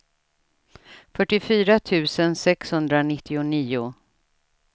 fyrtiofyra tusen sexhundranittionio